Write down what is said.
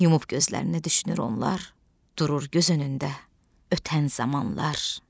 Yumub gözlərini düşünür onlar, durur göz önündə ötən zamanlar.